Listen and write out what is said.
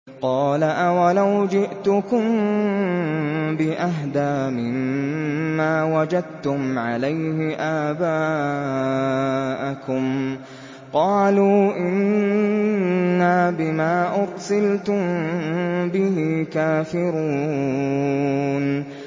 ۞ قَالَ أَوَلَوْ جِئْتُكُم بِأَهْدَىٰ مِمَّا وَجَدتُّمْ عَلَيْهِ آبَاءَكُمْ ۖ قَالُوا إِنَّا بِمَا أُرْسِلْتُم بِهِ كَافِرُونَ